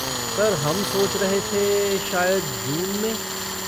Sir हम सोच रहे थे शायद जून में?